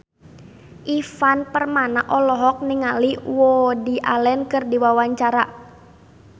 Ivan Permana olohok ningali Woody Allen keur diwawancara